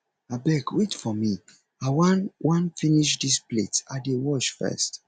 abeg wait for me i wan wan finish dis plates i dey wash first